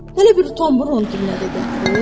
Hələ bir tonbur onun dilinə də gətirir.